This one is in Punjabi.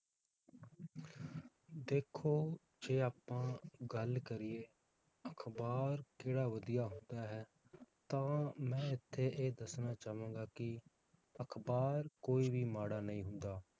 ਦੇਖੋ, ਜੇ ਆਪਾਂ ਗੱਲ ਕਰੀਏ ਅਖਬਾਰ ਕਿਹੜਾ ਵਧੀਆ ਹੁੰਦਾ ਹੈ, ਤਾਂ ਮੈ ਇਥੇ ਇਹ ਦੱਸਣਾ ਚਾਵਾਂਗਾ ਕਿ ਅਖਬਾਰ ਕੋਈ ਵੀ ਮਾੜਾ ਨਹੀਂ ਹੁੰਦਾ